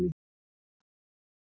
Svo að.